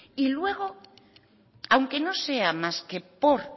y luego aunque no sea más que por